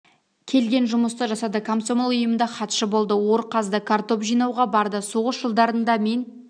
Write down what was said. келген жұмысты жасады комсомол ұйымында хатшы болды ор қазды картоп жинауға барды соғыс жылдарында мен